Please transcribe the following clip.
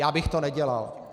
Já bych to nedělal.